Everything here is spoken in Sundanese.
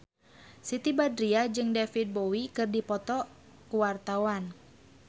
Siti Badriah jeung David Bowie keur dipoto ku wartawan